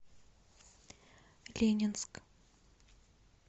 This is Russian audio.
ленинск